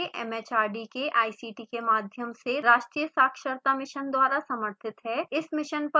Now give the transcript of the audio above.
यह भारत सरकार के mhrd के ict के माध्यम से राष्ट्रीय साक्षरता मिशन द्वारा समर्थित है